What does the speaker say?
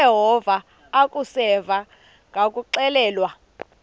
uyeva akuseva ngakuxelelwa